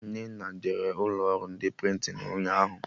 Nnenna jere ụlọ ọrụ ndị prịntịn ụnyaahụ